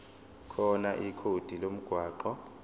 khona ikhodi lomgwaqo